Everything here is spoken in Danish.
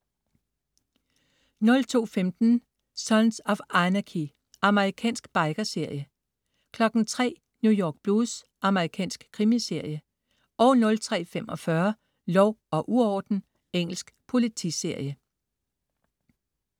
02.15 Sons of Anarchy. Amerikansk biker-serie 03.00 New York Blues. Amerikansk krimiserie 03.45 Lov og uorden. Engelsk politiserie